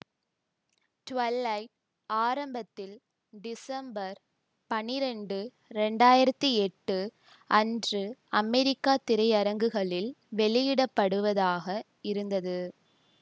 twilight ஆரம்பத்தில் December பனிரெண்டு இரண்டு ஆயிரத்தி எட்டு அன்று அமெரிக்க திரையரங்குகளில் வெளியிடப்படுவதாக இருந்தது